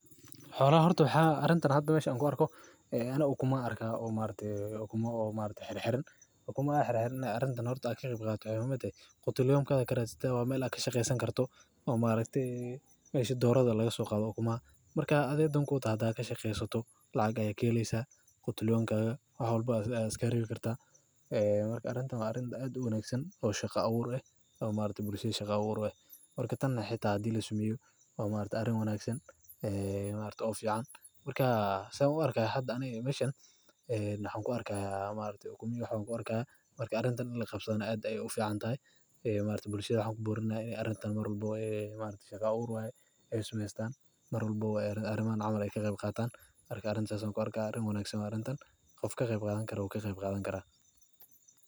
Xolaha horte waxaa arrintan hadaa meshan ku arko, ee aanu u kuma arkaa oo maarta, arrintan u kuma arkaa xir xiran. U kuma hiraahirin arrinta noortu aag iyo qaybqaadka ay u hammaadeen. Qotoloyin ka dagaajatay waa meel ayaan ka shaqeysan karto. Oo maalintii doorka laga soo qaado ummaa. Markaa adeegyadan ku taadaa ka shaqeyso lacag aya kelaysa, qotoloyinka ah walba ayaas ka riixi kartaa. Ee marka arrintan arrinta aad u unaagsan oo shaqo abuur ah, oo maalinta bulshada shaqo abuur wayn. Markii tanaxii taadiyo la isu miyay, waa maalinta arrin wanaagsan ee maalinta of fiican. Markaa samee ku arkay hadda anigaa mashaani, eee naaxan ku arkeyaa maalinta ukumi iyo xoo noqonka ah. Markii arrintan olin qabsadayna adiga ay of fiican tahay, ee maalinta bulshada u burinaya in arrintan mar walbo oo maalinta shaqo ur wayn ay ismeestaan. Mar walbo ay arrin arimaano caawin ay khaibgaataan. Arkay arrin sasaan ku arka arrin wanaagsan arrintan, qofka khaib gaadan kara oo khaib gaadan kara.